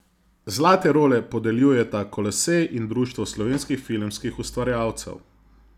Zlate role podeljujeta Kolosej in Društvo slovenskih filmskih ustvarjalcev.